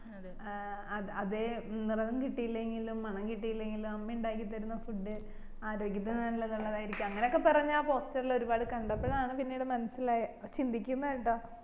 അതെ അതെ നിറം കിട്ടില്ലെങ്കിലും മണം കിട്ടിയില്ലേങ്കിലും 'അമ്മ ഇണ്ടാക്കി തരുന്ന food ആര്യോഗത്തിനുനല്ലതില്ലാതായിരിക്കും അങ്ങനൊക്കെ പറഞ്ഞ ആ poster ഇൽ ഒരുപാട് കണ്ടപ്പോഴാണ്പിന്നീട് മനസ്സിലായെ ചിന്തിക്കുന്നേറട്ടാ